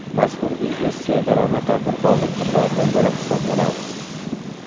Mazkur biznes serdaromad tadbirkorlik turlaridan biri hisoblanadi.